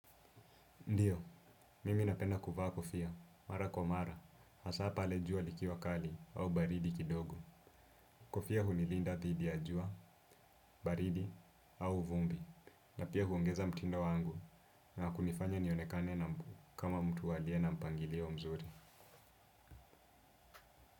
Ndiyo, mimi napenda kuvaa kofia, mara kwa mara, hasa pale jua likiwa kali au baridi kidogo. Kofia hunilinda dhidi ya jua, baridi au vumbi, na pia huongeza mtindo wangu na kunifanya nionekane na mbu kama mtu aliye na mpangilio mzuri.